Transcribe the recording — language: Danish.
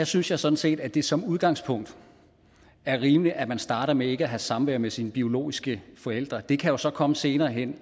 synes jeg sådan set at det som udgangspunkt er rimeligt at man starter med ikke at have samvær med sine biologiske forældre det kan jo så komme senere hen